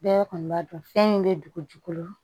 Bɛɛ kɔni b'a dɔn fɛn in bɛ dugujukolo